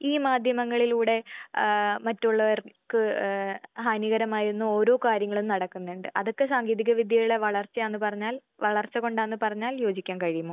ഈ മാധ്യമങ്ങളിലൂടെ ആഹ് മറ്റുള്ളവർക്ക് ഏഹ് ഹാനികരമായിരുന്ന ഓരോ കാര്യങ്ങളും നടക്കുന്നുണ്ട്. അതൊക്കെ സാങ്കേതിക വിദ്യയുടെ വളർച്ചയാന്ന് പറഞ്ഞാൽ വളർച്ച കൊണ്ടാന്ന് പറഞ്ഞാൽ യോജിക്കാൻ കഴിയുമോ?